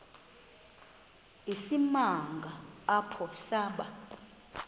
isimanga apho saba